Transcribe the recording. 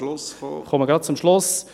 Ich komme gleich zum Schluss.